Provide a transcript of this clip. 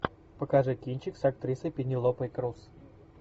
покажи кинчик с актрисой пенелопой круз